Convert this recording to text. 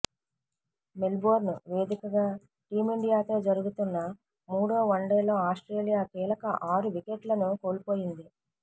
Melbourne వేదికగా టీమిండియాతో జరుగుతున్న మూడో వన్డేలో ఆస్ట్రేలియా కీలక ఆరు వికెట్లను కోల్పోయింది